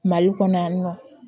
Mali kɔnɔ yan nɔ